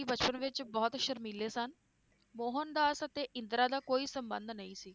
ਬਚਪਨ ਵਿਚ ਬਹੁਤ ਸ਼ਰਮੀਲੇ ਸਨ ਮੋਹਨਦਾਸ ਅਤੇ ਇੰਦਰਾ ਦਾ ਕੋਈ ਸੰਬੰਧ ਨਹੀਂ ਸੀ